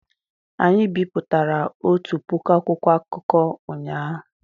Anyị bipụtara otu puku akwụkwọ akụkọ ụnyahụ